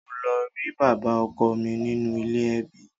Mo lọ rí bàbá ọkọ mi nínú ilé ẹbí.